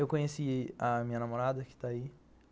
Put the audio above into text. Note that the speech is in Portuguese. Eu conheci a minha namorada, que está aí.